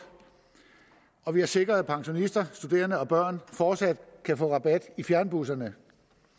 og vi har sikret at pensionister studerende og børn fortsat kan få rabat i fjernbusserne